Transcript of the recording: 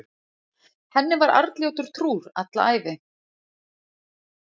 henni var arnljótur trúr alla ævi